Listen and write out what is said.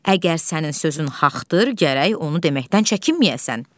Əgər sənin sözün haxdır, gərək onu deməkdən çəkinməyəsən.